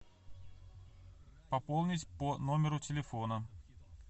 пополнить по номеру телефона